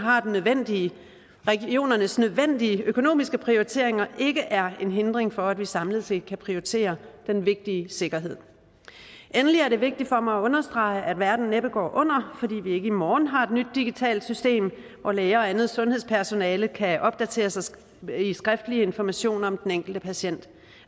nødvendige regionernes nødvendige økonomiske prioriteringer ikke er en hindring for at vi samlet set kan prioritere den vigtige sikkerhed endelig er det vigtigt for mig at understrege at verden næppe går under fordi vi ikke i morgen har et nyt digitalt system hvor læger og andet sundhedspersonale kan opdateres med skriftlig information om den enkelte patient jeg